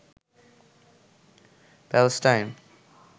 Palestine